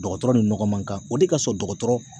Dɔgɔtɔrɔ ni nɔgɔ man kan o de ka sɔrɔ dɔgɔtɔrɔ